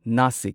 Nashik